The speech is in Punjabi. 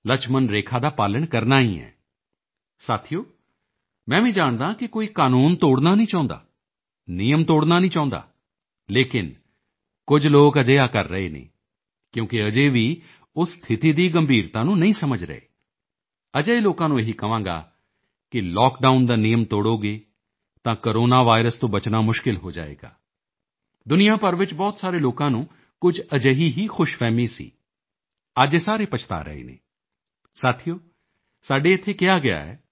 ਲਕਸ਼ਮਣ ਰੇਖਾ ਦਾ ਪਾਲਣ ਕਰਨਾ ਹੀ ਹੈ ਸਾਥੀਓ ਮੈਂ ਵੀ ਜਾਣਦਾ ਹਾਂ ਕਿ ਕੋਈ ਕਾਨੂੰਨ ਤੋੜਨਾ ਨਹੀਂ ਚਾਹੁੰਦਾ ਨਿਯਮ ਤੋੜਨਾ ਨਹੀਂ ਚਾਹੁੰਦਾ ਲੇਕਿਨ ਕੁਝ ਲੋਕ ਅਜਿਹਾ ਕਰ ਰਹੇ ਨੇ ਕਿਉਂਕਿ ਅਜੇ ਵੀ ਉਹ ਸਥਿਤੀ ਦੀ ਗੰਭੀਰਤਾ ਨੂੰ ਨਹੀਂ ਸਮਝ ਰਹੇ ਅਜਿਹੇ ਲੋਕਾਂ ਨੂੰ ਇਹੀ ਕਹਾਂਗਾ ਕਿ ਲੌਕਡਾਊਨ ਦਾ ਨਿਯਮ ਤੋੜੋਗੇ ਤਾਂ ਕੋਰੋਨਾ ਵਾਇਰਸ ਤੋਂ ਬਚਣਾ ਮੁਸ਼ਕਿਲ ਹੋ ਜਾਏਗਾ ਦੁਨੀਆਂ ਭਰ ਵਿੱਚ ਬਹੁਤ ਸਾਰੇ ਲੋਕਾਂ ਨੂੰ ਕੁਝ ਅਜਿਹੀ ਹੀ ਖ਼ੁਸ਼ਫਹਿਮੀ ਸੀ ਅੱਜ ਇਹ ਸਾਰੇ ਪਛਤਾ ਰਹੇ ਨੇ ਸਾਥੀਓ ਸਾਡੇ ਇੱਥੇ ਕਿਹਾ ਗਿਆ ਹੈ